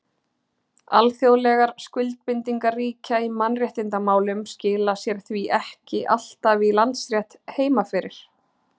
Alþjóðlegar skuldbindingar ríkja í mannréttindamálum skila sér því ekki alltaf í landsrétt heima fyrir.